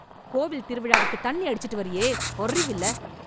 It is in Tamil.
கோவில் திருவிழாவுக்கு தண்ணி அடிச்சிட்டு வரியே, அறிவில்ல?